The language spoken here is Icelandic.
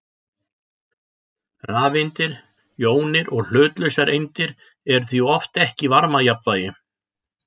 Rafeindir, jónir og hlutlausar eindir eru því oft ekki í varmajafnvægi.